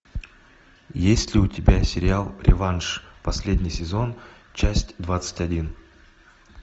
есть ли у тебя сериал реванш последний сезон часть двадцать один